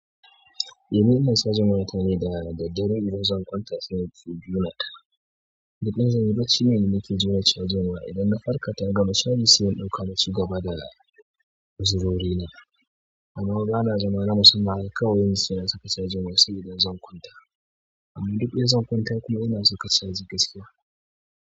Eh ni ina cajin wayata ne da daddare idan zan kwanta sai ij jona ta. Idan zanyi bacci ne ni nake jona cajin waya idan na farka ta gama caji sai in ɗauka naci gaba da uzurori na. Amma bana zama haka kawai na musamman sai na saka cajin waya sabida zan kwanta. Duk in zan kwanta dai ina saka caji gaskiya.